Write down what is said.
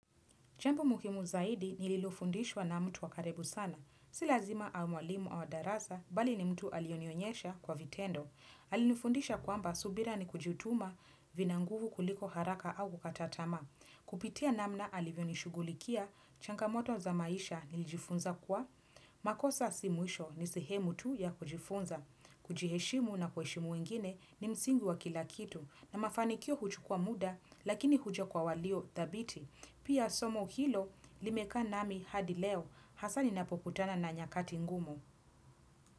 Jambo muhimu zaidi nililofundishwa na mtu wa karibu sana. Si lazima awe mwalimu wa darasa, mbali ni mtu aliyenionyesha kwa vitendo. Alinifundisha kwamba subira ni kujutuma, vina nguvu kuliko haraka au kukata tamaa Kupitia namna alivyonishughulikia, changamoto za maisha nilijifunza kuwa. Makosa si mwisho ni sehemu tu ya kujifunza. Kujiheshimu na kuheshimu wengine ni msingi wa kila kitu. Na mafanikio huchukua muda, lakini huja kwa walio thabiti. Pia somo hilo limekaa nami hadi leo. Hasa ninapokutana na nyakati ngumu.